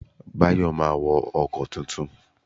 Bayo máa wo ọkọ̀ tuntun